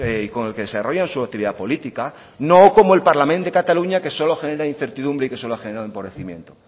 y con el que desarrollan su actividad política no como el parlament de cataluña que solo genera incertidumbre y que solo ha generado empobrecimiento